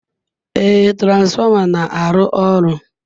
Ee, transformer na-arụ ọrụ.